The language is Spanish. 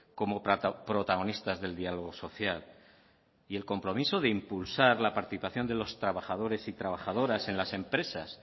como protagonistas del diálogo social y el compromiso de impulsar la participación de los trabajadores y trabajadoras en las empresas